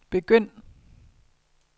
begynd